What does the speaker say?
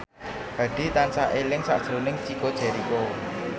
Hadi tansah eling sakjroning Chico Jericho